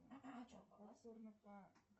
ну ты даешь